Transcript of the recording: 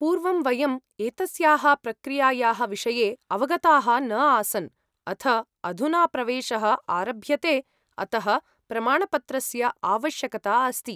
पूर्वं वयम् एतस्याः प्रक्रियायाः विषये अवगताः न आसन् अथ अधुना प्रवेशः आरभ्यते अतः प्रमाणपत्रस्य आवश्यकता अस्ति।